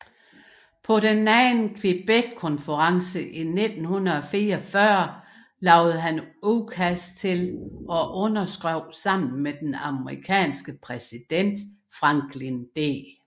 På den Anden Quebeckonference i 1944 lavede han udkast til og underskrev sammen med den amerikanske præsident Franklin D